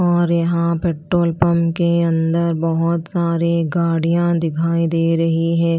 और यहाँ petrol pump के अंदर बहुत सारे गाड़ियां दिखाई दे रहे हैं।